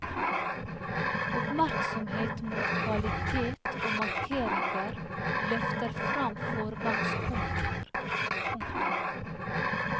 Oppmerksomhet mot kvalitet og markeringer løfter fram foregangskommuner. punktum